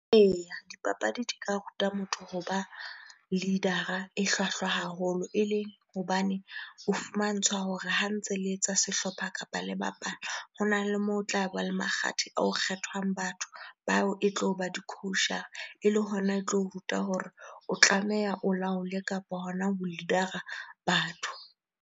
Eya, dipapadi di ka ruta motho ho ba leader-a e hlwahlwa haholo. Ele hobane o fumantshwa hore ha ntse le etsa sehlopha kapa le bapala, hona le moo o tlaba le makgathe ao ho kgethwang batho bao e tlo ba di-coach-ara ele hona e tlo o ruta hore o tlameha o laole kapa hona ho leader-ra batho.